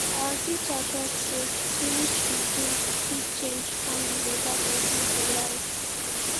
our teacher talk say foolish pikin fit change come be better pesin for life